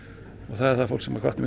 það er það fólk sem hvatti mig